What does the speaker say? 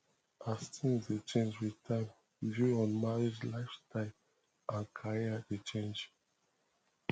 as things dey change with time views on marriage lifestyle and career dey change